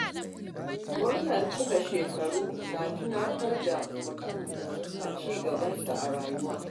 Murnar cikar shekaru na tunatar da mutum ci gabansa a rayuwa.